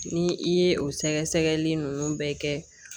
Ni i ye o sɛgɛsɛgɛli ninnu bɛɛ kɛ